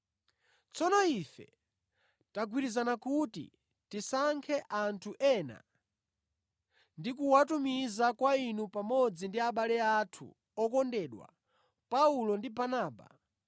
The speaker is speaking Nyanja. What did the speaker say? Tsono ife tagwirizana kuti, tisankhe anthu ena ndi kuwatumiza kwa inu pamodzi ndi abale athu okondedwa Paulo ndi Barnaba,